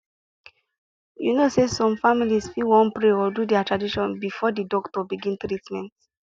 you know say some families fit wan pray or do their tradition before the doctor begin treatment